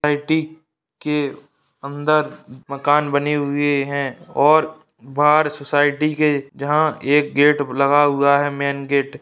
society के अंदर मकान बनी हुई है और बाहर सोसाइटी के जहां एक गेट लगा हुआ है मैन गेट --